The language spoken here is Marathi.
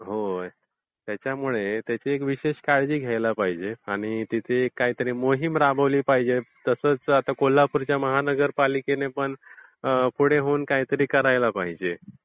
होय, त्याच्यामुळे त्याची एक विशेष काळजी घ्यायला पाहिजे. आणि तिथे एक काहीतरी मोहीम राबवली पाहिजे. तसच आता कोल्हापूरच्या महानगर्पालिकेने पण पुढे होऊन काहीतरी करायला पाहिजे.